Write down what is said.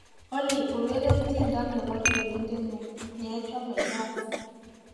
olly ureren tyendo nebo tienindenyun neochome jazz